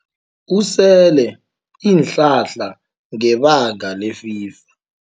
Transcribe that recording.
Usele iinhlahla ngebanga lefiva.